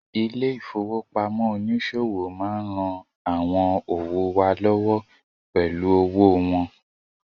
Ilé ìfowópamọ́ oníṣòwò má ń ran àwọn òwò wa lọ́wọ́ pẹ̀lú owó wọn